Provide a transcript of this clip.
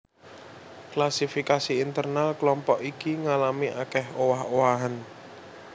Klasifikasi internal klompok iki ngalami akèh owah owahan